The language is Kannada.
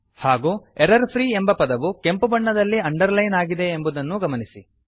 ಹಾಗೂ ಎರರ್ಫ್ರೀ ಎಂಬ ಪದವು ಕೆಂಪು ಬಣ್ಣದಲ್ಲಿ ಅಂಡರ್ಲೈನ್ ಆಗಿದೆ ಎಂಬುದನ್ನೂ ಗಮನಿಸಿ